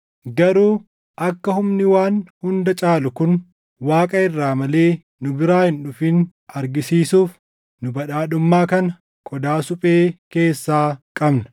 Garuu akka humni waan hunda caalu kun Waaqa irraa malee nu biraa hin dhufin argisiisuuf nu badhaadhummaa kana qodaa suphee keessaa qabna.